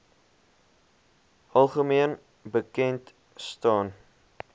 algemeen bekend staan